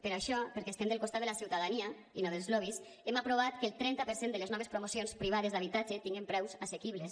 per això perquè estem del costat de la ciutadania i no dels lobbys hem aprovat que el trenta per cent de les noves promocions privades d’habitatge tingan preus assequibles